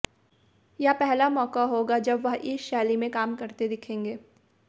यह पहला मौका होगा जब वह इस शैली में काम करते दिखेंगे